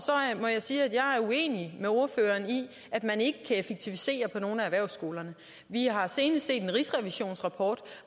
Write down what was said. må jeg sige at jeg er er uenig med ordføreren i at man ikke kan effektivisere på nogen af erhvervsskolerne vi har senest set en rigsrevisionsrapport